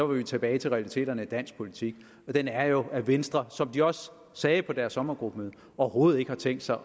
vi tilbage til realiteterne i dansk politik den er jo at venstre som de også sagde på deres sommergruppemøde overhovedet ikke har tænkt sig